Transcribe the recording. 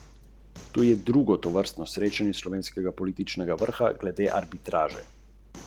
Tajska vlada je kasneje zavrnila poziv k preložitvi volitev.